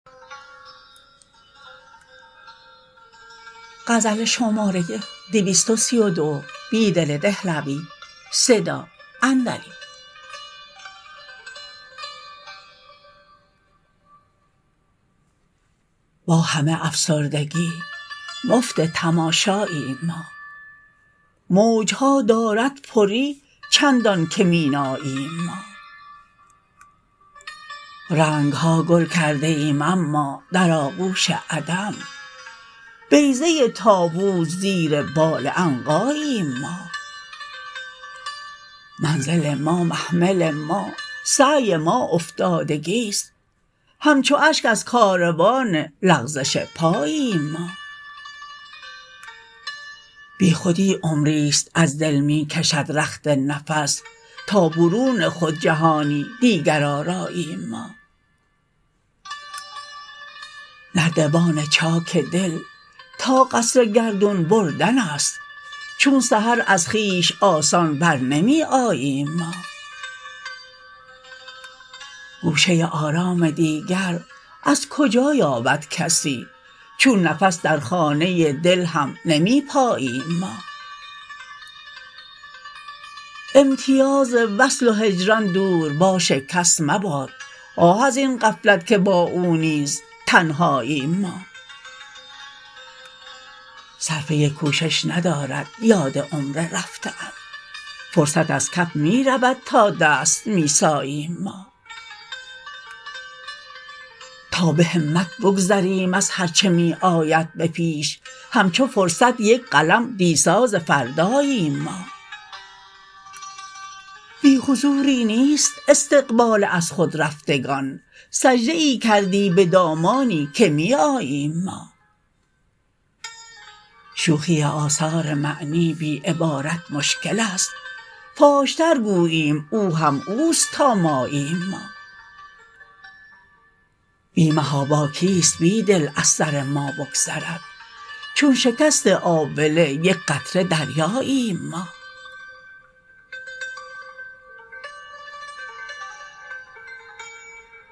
با همه افسردگی مفت تماشاییم ما موجها د ارد پری چندان که میناییم ما رنگ ها گل کرده ایم اما در آغوش عدم بیضه طاووس زیر بال عنقاییم ما منزل ما محمل ما سعی ما افتادگیست همچو اشک ازکاروان لغزش پاییم ما بیخودی عمری ست ازدل می کشد رخت نفس تا برون خود جهانی دیگر آراییم ما نردبان چاک دل تا قصرگردون بردن است چون سحر از خویش آسان برنمی آییم ما گوشه آرام دیگر ازکجا یابد کسی چون نفس در خانه دل هم نمی پاییم ما امتیاز وصل و هجران دورباش کس مباد آه ازین غفلت که با او نیزتنهاییم ما صرفه کوشش ندارد یاد عمر رفته ام فرصت ازکف می رود تا دست می ساییم ما تا به همت بگذریم ازهرچه می آید به پیش همچوفرصت یک قلم دی ساز فرداییم ما بی حضوری نیست استقبال از خود رفتگان سجده ای کردی به دامانی که می آییم ما شوخی آثار معنی بی عبارت مشکل است فاش ترگوییم او هم اوست تا ماییم ما بی محاباکیست بیدل از سر ما بگذرد چون شکست آبله یک قطره دریاییم ما